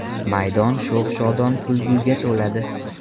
Maydon sho‘x-shodon kulguga to‘ladi.